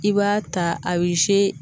I b'a ta a bɛ